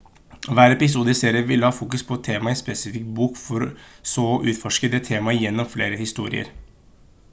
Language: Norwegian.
hver episode i serien ville ha fokus på et tema i en spesifikk bok for så å utforske det temaet gjennom flere historier